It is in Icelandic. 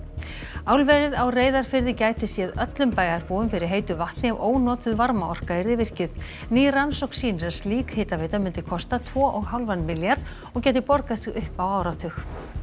álverið á Reyðarfirði gæti séð öllum bæjarbúum fyrir heitu vatni ef ónotuð varmaorka yrði virkjuð ný rannsókn sýnir að slík hitaveita myndi kosta tvo og hálfan milljarð og gæti borgað sig upp á áratug